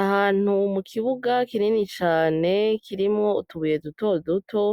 Ahantu kukibuga kinini cane, kirimwo utubuye dutoduto,